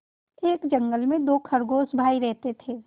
एक जंगल में दो खरगोश भाई रहते थे